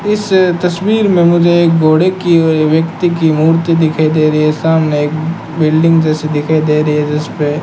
इस तस्वीर में मुझे एक घोड़े की और व्यक्ति की मूर्ति दिखाई दे रही है सामने एक बिल्डिंग जैसी दिखाई दे रही है जिसपे --